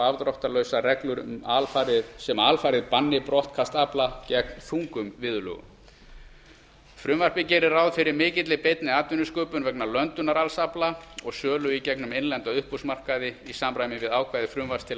afdráttarlausar reglur sem alfarið banni brottkast afla gegn þungum viðurlögum frumvarpið gerir ráð fyrir mikilli beinni atvinnusköpun vegna löndunar alls afla og sölu í gegnum innlenda uppboðsmarkaði í samræmi við ákvæði frumvarps til